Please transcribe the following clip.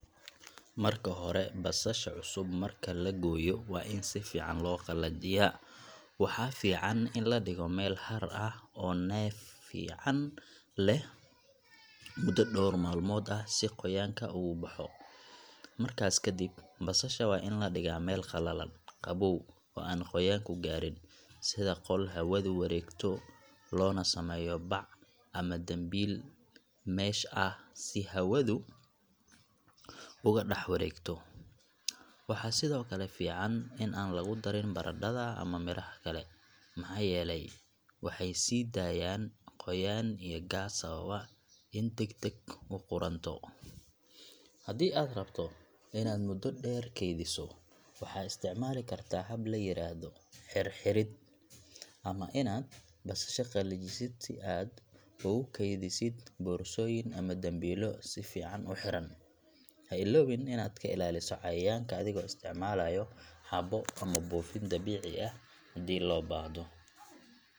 Marka hore, basasha cusub marka la gooyo waa in si fiican loo qalajiyaa. Waxaa fiican in la dhigo meel hadh ah oo neef fiican leh muddo dhowr maalmood ah si qoyaanka uga baxo. Markaas kadib, basasha waa in la dhigaa meel qalalan, qabow, oo aan qoyaanku gaarin — sida qol hawadu wareegto, loona sameeyo bac ama dambiil mesh ah si hawadu uga dhex wareegto. Waxaa sidoo kale fiican in aan lagu darin baradhada ama miraha kale, maxaa yeelay waxay sii daayaan qoyaan iyo gaas sababa inay degdeg u qudhunto. Haddii aad rabto inaad muddo dheer keydiso, waxaad isticmaali kartaa hab la yiraahdo xidh-xidhid ama inaad basasha qalajisid si aad ugu keydisid boorsooyin ama dambiilo si fiican u xiran. Ha iloobin inaad ka ilaaliso cayayaanka adigoo isticmaalaya xabo ama buufin dabiici ah haddii loo baahdo.